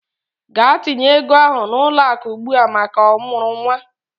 Gaa tinye ego ahụ n'ụlọakụ ugbua maka ọmụrụ nwa!